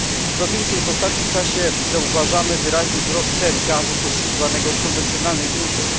Co więcej, w ostatnim czasie zauważamy wyraźny wzrost cen gazu pozyskiwanego z konwencjonalnych źródeł.